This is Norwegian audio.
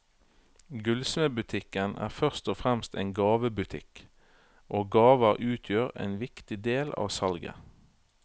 Gullsmedbutikken er først og fremst en gavebutikk, og gaver utgjør en viktig del av salget.